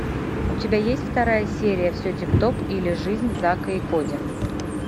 у тебя есть вторая серия все тип топ или жизнь зака и коди